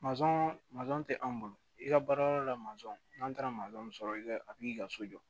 tɛ an bolo i ka baara yɔrɔ la n'an taara sɔrɔ a bi ka so jɔ